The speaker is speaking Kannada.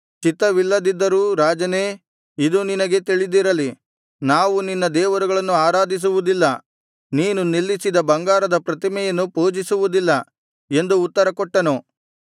ಚಿತ್ತವಿಲ್ಲದಿದ್ದರೂ ರಾಜನೇ ಇದು ನಿನಗೆ ತಿಳಿದಿರಲಿ ನಾವು ನಿನ್ನ ದೇವರುಗಳನ್ನು ಆರಾಧಿಸುವುದಿಲ್ಲ ನೀನು ನಿಲ್ಲಿಸಿದ ಬಂಗಾರದ ಪ್ರತಿಮೆಯನ್ನು ಪೂಜಿಸುವುದಿಲ್ಲ ಎಂದು ಉತ್ತರಕೊಟ್ಟರು